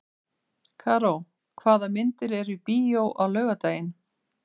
Karó, hvaða myndir eru í bíó á laugardaginn?